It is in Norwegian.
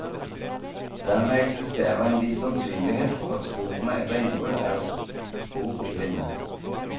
Dermed eksisterer en viss sannsynlighet for at sporene etter innbrudd er spor i blinde.